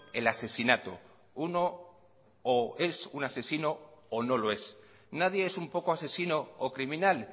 el asesinato uno o es un asesino o no lo es nadie es un poco asesino o criminal